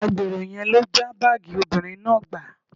Agbèrò yẹn ló já báàgì obìnrin náà gbà